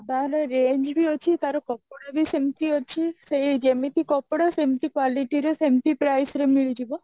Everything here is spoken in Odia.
କମ range ବି ଅଛି ତାର କପଡା ବି ସେମତି ଅଛି ସେଇ ଯେମତି କପଡା ସେମିତି quality ସେମତି price ର ମିଳିଯିବ